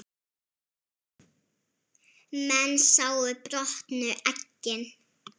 Menn sáu brotnu eggin.